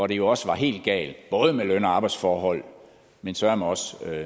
det jo også helt galt både med løn og arbejdsforhold men søreme også